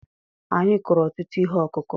Anyị kụrụ ọtụtụ ihe ọkụkụ̀.